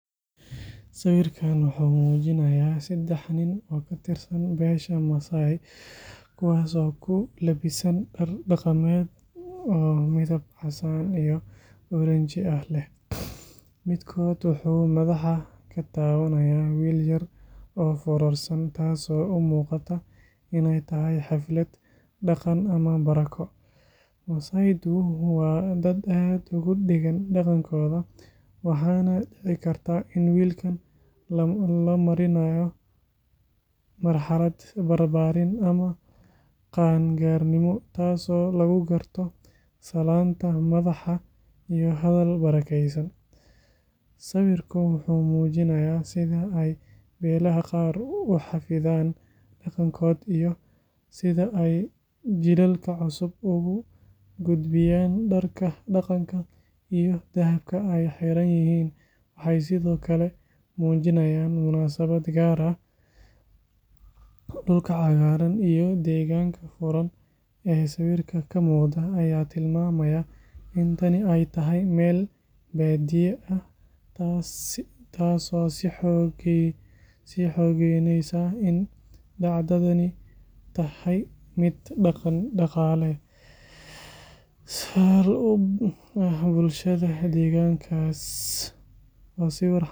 Sawirkan wuxuu muujinayaa saddex nin oo ka tirsan beesha Masai, kuwaas oo ku labisan dhar dhaqameed oo midab casaan iyo oranji ah leh. Midkood wuxuu madaxa ka taabanayaa wiil yar oo foorarsan, taasoo u muuqata inay tahay xaflad dhaqan ama barako. Masai-du waa dad aad ugu dheggan dhaqankooda, waxaana dhici karta in wiilkan la marinayo marxalad barbaarin ama qaan-gaarnimo, taasoo lagu garto salaanta madaxa iyo hadal barakeysan. Sawirku wuxuu muujinayaa sida ay beelaha qaar u xafidaan dhaqankooda iyo sida ay jiilalka cusub ugu gudbiyaan. Dharka dhaqanka iyo dahabka ay xiran yihiin waxay sidoo kale muujinayaan munaasabad gaar ah. Dhulka cagaaran iyo deegaanka furan ee sawirka ka muuqda ayaa tilmaamaya in tani ay tahay meel baadiye ah, taasoo sii xoogeyneysa in dhacdadani tahay mid dhaqan-dhaqaale sal u ah bulshada deegaankaas. Waa sawir xambaarsan.